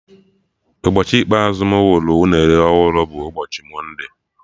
Ụbọchị ikpeazụ mụ hụrụ unere ọhụrụ bụ ụbọchị mọnde